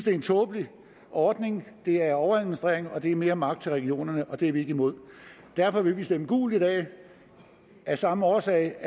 er en tåbelig ordning det er overadministrering og det er mere magt til regionerne og det er vi imod derfor vil vi stemme gult i dag af samme årsag